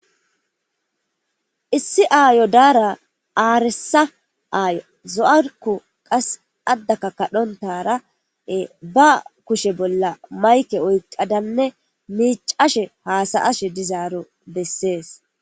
Issi aayo daara aaresa aayo zo'arku qas addaka kadhontara ba kushe bolla mayke oyqadanne miicashe haasa ashe dizaaro bessees.